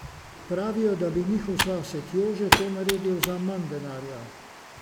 Pravijo, da bi njihov sosed Jože to naredil za manj denarja.